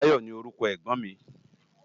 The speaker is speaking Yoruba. Bayo ni órúkò ègbòn mi